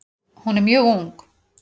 Hún er mjög ung.